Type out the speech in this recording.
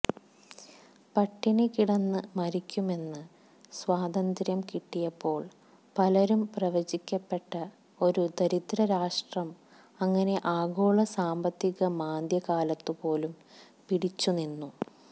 പട്ടിണി കിടന്ന് മരിക്കുമെന്ന് സ്വാതന്ത്ര്യം കിട്ടിയപ്പോൾ പലരും പ്രവചിക്കപ്പെട്ട ഒരു ദരിദ്രരാഷ്ട്രം അങ്ങനെ ആഗോള സാമ്പത്തിക മാന്ദ്യക്കാലത്തുപോലും പിടിച്ചു നിന്നു